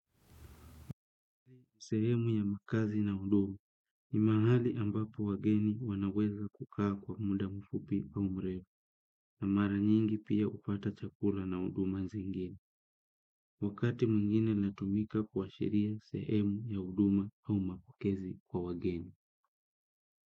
Sehemu ya makazi na huduma ni mahali ambapo wageni wanaeza kukaa kwa mda mfupi au mrefu na mara nyingi pia hupata chakula na huduma zingine wakati mwingine latumika kuashiria sehemu ya huduma au mapokezi kwa wageni.